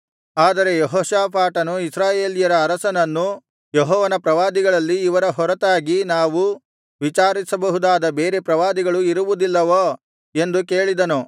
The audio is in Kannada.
ಆದರೆ ಯೆಹೋಷಾಫಾಟನು ಇಸ್ರಾಯೇಲ್ಯರ ಅರಸನನ್ನು ಯೆಹೋವನ ಪ್ರವಾದಿಗಳಲ್ಲಿ ಇವರ ಹೊರತಾಗಿ ನಾವು ವಿಚಾರಿಸಬಹುದಾದ ಬೇರೆ ಪ್ರವಾದಿಗಳು ಇರುವುದಿಲ್ಲವೋ ಎಂದು ಕೇಳಿದನು